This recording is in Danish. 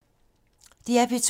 DR P2